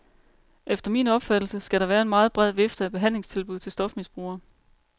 Efter min opfattelse skal der være en meget bred vifte af behandlingstilbud til stofmisbrugere.